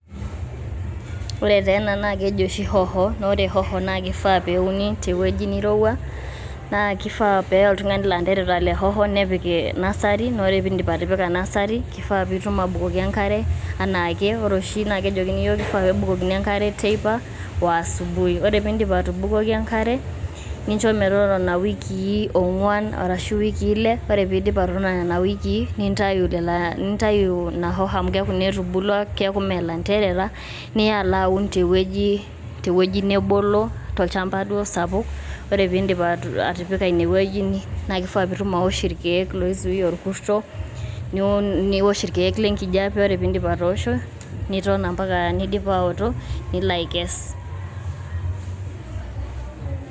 ore taa ena naa keji oshi hoho ore hoho naa kifaa peuni teuwueji nirowua naa kifaa peya oltungani lanterera le hoho nepik nursery ore pindip atipika nursery kifaa pitum abukoki enkare anaake. ore oshi naa kejokini yiook kifaa pebukokini enkare teipa o asubuhi ore pindip atubukoki enkare nincho metotona wikii ongwan arashu iwikii ile .ore pidip atotona nena wikii nintayu ina hoho amu keaku naa etubulua ,keaku mmee lanterera niya ala aun te wueji te wueji nebolo tolchamba duo sapuk ,ore pindip atipika ine wueji naa kifaa pitum aosh irkieek loizuia orkuto ,niun niosh irkieek le enkijepe ore pindip atoosho ,niton ompaka nidip aotoko nilo aikes.